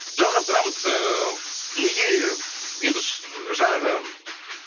жалғастырамыз ыыы неге енді жаңағы